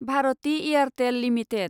Bharati Airtel limited